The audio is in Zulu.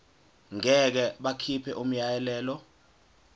ngeke bakhipha umyalelo